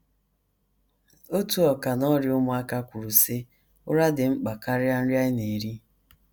Otu ọkà n’ọrịa ụmụaka kwuru, sị: “ Ụra dị mkpa karịa nri anyị na - eri.